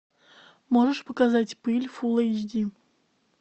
можешь показать пыль фул эйч ди